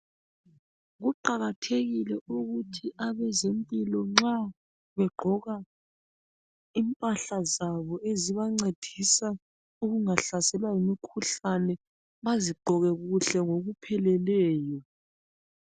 Kuqakathekile ukuthi abezempilo nxa begqoka impahla zabo ezibancedisa ukungahlaselwa yimikhuhlane bazigqoke kuhle ngokupheleleyo.